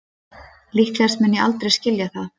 Líklegast mun ég aldrei skilja það